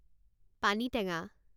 পানীটেঙা